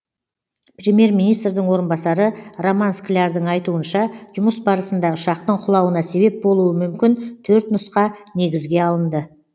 премьер министрдің орынбасары роман склярдың айтуынша жұмыс барысында ұшақтың құлауына себеп болуы мүмкін төрт нұсқа негізге алынды